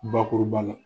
Bakuruba la